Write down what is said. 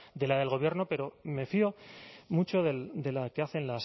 de la del gobierno pero me fío mucho de la que hacen